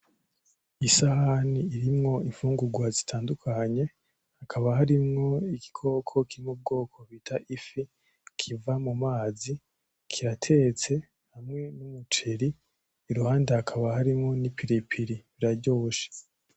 isahani irimwo imfungurwa zitandukanye hakaba harimwo igikoko co mu bwoko bita ifi kiba mu mazi. Kiratetse kirimwo n'umuceri. Iruhande hakaba harimwo n'ipiripiri, biraryoshe.